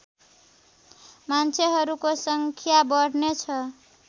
मान्छेहरूको सङ्ख्या बढ्नेछ